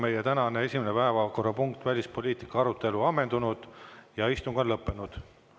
Meie tänane esimene päevakorrapunkt, välispoliitika arutelu, on ammendunud ja istung on lõppenud.